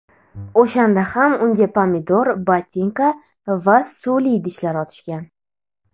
O‘shanda ham unga pomidor, botinka va suvli idishlar otishgan.